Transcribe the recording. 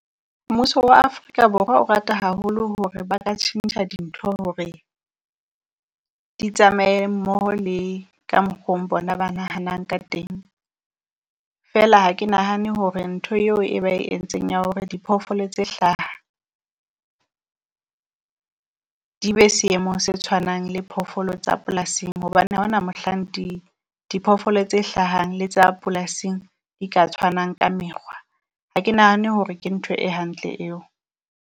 Mmuso wa Afrika Borwa o rata haholo hore ba ka tjhentjha dintho hore di tsamaye mmoho le ka mokgong bona ba nahanang ka teng. Feela ha ke nahane hore ntho eo e ba e entseng ya hore diphoofolo tse hlaha di be seemong se tshwanang le phofolo tsa polasing, hobane ha ho na mohlang di diphoofolo tse hlahang le tsa polasing di ka tshwanang ka mekgwa. Ha ke nahane hore ke ntho e hantle eo.